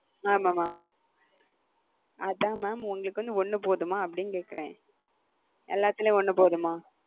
ஆமாம் mam அதான் mam உங்களுக்கு வந்து ஒன்னு போதுமா அப்படின்னு கேக்குறேன் எல்லாத்துலயும் ஒன்னு போதுமா